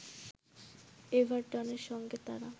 এভারটনের সঙ্গে তারা